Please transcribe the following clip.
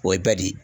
O ye badi